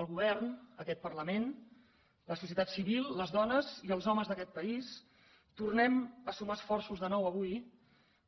el govern aquest parlament la societat civil les dones i els homes d’aquest país tornem a sumar esforços de nou avui